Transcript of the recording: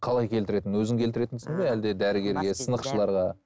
қалай келтіретін өзің келтіретінсің бе әлде